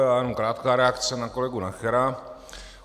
Já jenom krátká reakce na kolegu Nachera.